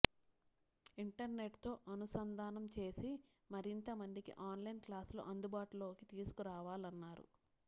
ఇంటర్నెట్తో అనుసంధానం చేసి మరింత మందికి ఆన్లైన్ క్లాసులు అందుబాటులోకి తీసుకురాలన్నారు